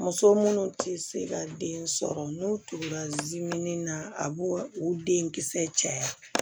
Muso minnu tɛ se ka den sɔrɔ n'u turula na a b'o den kisɛ caya